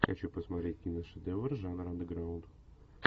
хочу посмотреть киношедевр жанра андеграунд